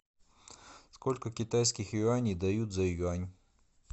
сколько китайских юаней дают за юань